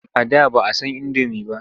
A da ba san indomi ba.